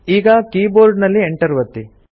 ಈಗ keyboard ನಲ್ಲಿ enter ಒತ್ತಿ